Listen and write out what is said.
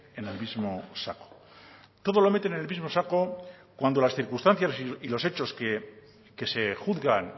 en el mismo saco todo lo meten en el mismo saco cuando las circunstancias y los hechos que se juzgan